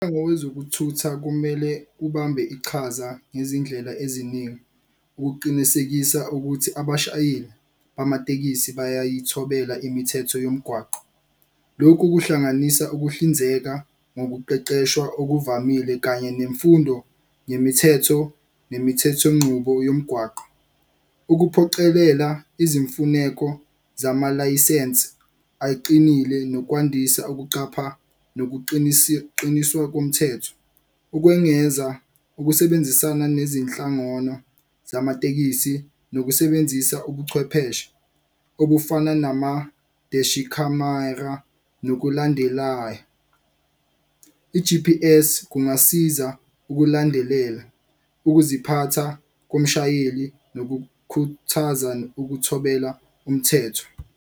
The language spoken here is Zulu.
Ngokwezokuthutha kumele ubambe iqhaza ngezindlela eziningi ukuqinisekisa ukuthi abashayeli bamatekisi bayayithobela imithetho yomgwaqo. Lokhu kuhlanganisa ukuhlinzeka ngokuqeqeshwa okuvamile kanye nemfundo nemithetho nemithethongqubo yomgwaqo. Ukuphoqelela izimfuneko zamalayisense aqinile nokwandisa ukuqapha komthetho, ukwengeza ukusebenzisana nezinhlangano zamatekisi nokusebenzisa ubuchwepheshe obufana nama-deshi khamera nokulandela i-G_P_S kungasiza ukulandelela ukuziphatha komshayeli nokukhuthaza ukumthobela umthetho.